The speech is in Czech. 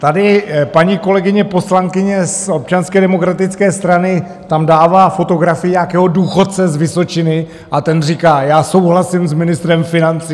Tady paní kolegyně poslankyně z Občanské demokratické strany tam dává fotografii nějakého důchodce z Vysočiny a ten říká: Já souhlasím s ministrem financí.